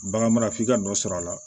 Bagan mara f'i ka nɔ sɔrɔ a la